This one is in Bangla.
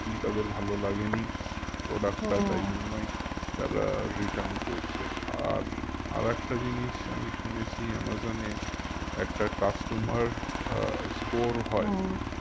কি তাদের ভালো লাগেনি তারা return করছে আর আরেকটা জিনিস আমি শুনেছি আমাজনে একটা customer আহ score